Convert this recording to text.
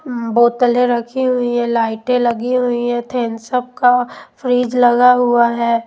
बोतले रखी हुई हैं लाइटें लगी हुई हैं थेम्स अप का फ्रिज लगा हुआ है।